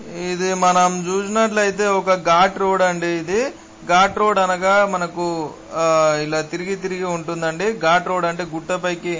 ఇది మనం చూసినట్లయితే ఒక గౌట్ రోడ్ అంది ఇది. గాట్ రోడ్ అనగా మనకి ఆ ఇలా తిరిగి తిరిగి ఉంటుందండి. గాట్ రోడ్ అంటే గుట్ట పైకి--